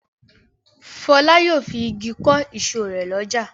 Fọlá yóò fi igi kọ́ ìsọ̀ rẹ̀ lọ́jà.